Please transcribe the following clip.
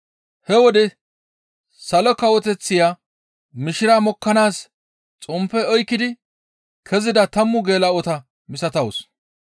«He wode Salo Kawoteththiya mishira mokkanaas xomppe oykkidi kezida tammu geela7ota misatawus.